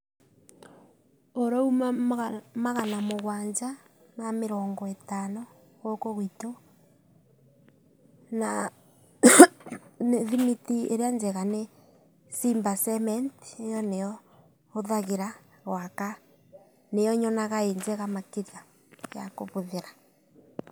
Ūrauma magana mūgwanja ma mĩrongo ĩtano gūkū gwitū. Na thimiti ĩrĩa njega nĩ Simba Cement ĩyo nĩyo hūthagĩra gūaka, nĩyo nyonaga ĩ njega makĩria ya kūbūthĩra